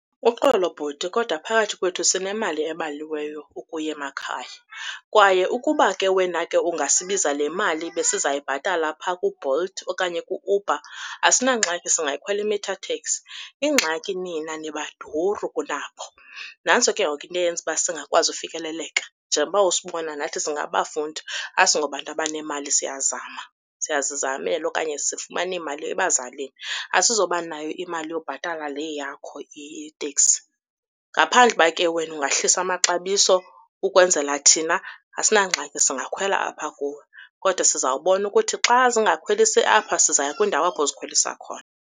Uxolo, bhuti, kodwa phakathi kwethu sinemali ebaliweyo ukuya emakhaya. Kwaye ukuba ke wena ke ungasibiza le mali besiza kuyibhatala pha kuBolt okanye kuUber asinangxaki singayikhwela i-meter taxi. Ingxaki nina nibaduru kunabo, nantso ke ngoku into eyenza uba singakwazi ufikeleleka. Njengoba usibona nathi singabafundi, asingobantu abanemali, siyazama, siyazizamela okanye sifumana imali ebazalini. Asizobanayo imali yobhatala le yakho iteksi. Ngaphandle uba ke wena ungahlisa amaxabiso ukwenzela thina asinangxaki singakhwela apha kuwe, kodwa sizawubona ukuthi xa zingakhwelisi apha sizaya kwindawo apho zikhwelisa khona.